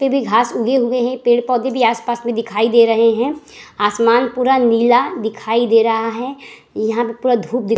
पे भी घास उगे हुए हैं। पेड़-पौधे भी आस-पास में दिखाई दे रहे हैं। आसमान पूरा नीला दिखाई दे रहा है। यहां पे पूरा धूप --